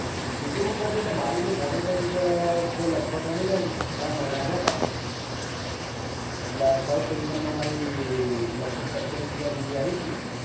youtube ઉપરથીએટલે મારે monetize થયે લગભગ ગણીલે ને ત્રણ મહિના થયા તા first income મારી લગભગ સત્તાવીસ હજાર જેવી આયી તી